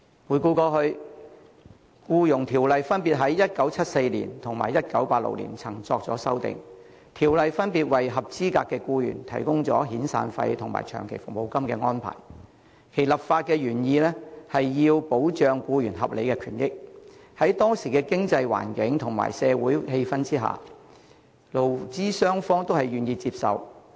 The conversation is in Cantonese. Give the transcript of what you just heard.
回顧過去，《僱傭條例》曾於1974年及1986年作出修訂，分別訂明合資格僱員可獲提供遣散費和長期服務金，其立法原意是要保障僱員合理權益，在當時經濟環境及社會氣氛下，勞資雙方都願意接受。